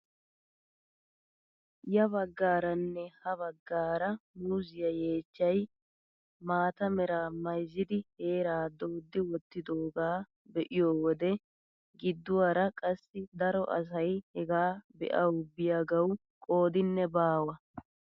Ya baggaaranne ha baggaara muuziyaa yeechchay maata meraa mayzzidi heeraa dooddi wottidoogaa be'iyoo wode gidduwaara qassi daro asay hegaa be'awu biyaagawu qoodinne baawa!